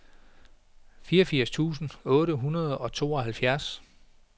fireogfirs tusind otte hundrede og tooghalvfjerds